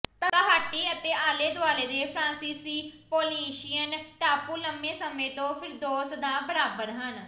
Tahiti ਅਤੇ ਆਲੇ ਦੁਆਲੇ ਦੇ ਫਰਾਂਸੀਸੀ ਪੌਲੀਨੀਸ਼ਿਅਨ ਟਾਪੂ ਲੰਬੇ ਸਮੇਂ ਤੋਂ ਫਿਰਦੌਸ ਦਾ ਬਰਾਬਰ ਹਨ